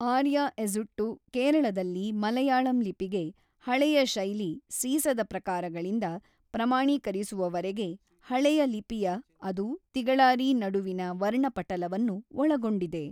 ಆರ್ಯ ಎಝುಟ್ಟು ಕೇರಳದಲ್ಲಿ ಮಲಯಾಳಂ ಲಿಪಿಗೆ ಹಳೆಯ ಶೈಲಿ ಸೀಸದ ಪ್ರಕಾರಗಳಿಂದ ಪ್ರಮಾಣೀಕರಿಸುವವರೆಗೆ ಹಳೆಯ ಲಿಪಿಯ ಅದು ತಿಗಳಾರಿ ನಡುವಿನ ವರ್ಣಪಟಲವನ್ನು ಒಳಗೊಂಡಿದೆ.